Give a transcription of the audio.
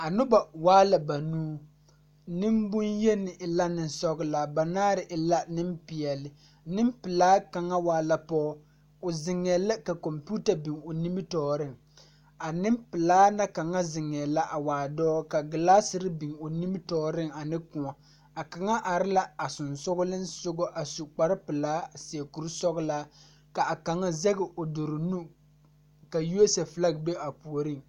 A nobɔ waa la banuu neŋbonyeni e la neŋsɔglaa banaare e la neŋpeɛɛle neŋpilaa kaŋa waa la pɔge o zeŋɛɛ la ka kɔmpiuta biŋ o nimitoore a neŋpilaa na kaŋa zeŋɛɛ la a waa dɔɔ ka glaaserre biŋ o nimitooreŋ ane kòɔ a kaŋa are la a sensugkiŋsugɔ a su kparepilaa a seɛ kuresɔglaa ka a kaŋa zege o dure nu ka USA flag be a puoriŋ.